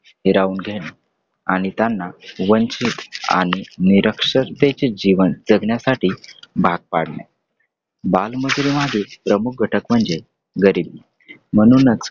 हिरावून घेणे आणि त्यांना वंचित आणि निरक्षरतेचे जीवन जगण्यासाठी भाग पाडणे बालमजुरीमागे प्रमुख घटक म्हणजे गरीब म्हणूनच